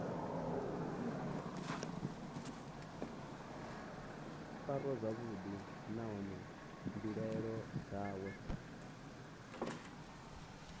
farwa zwavhuḓi nahone mbilaelo dzawe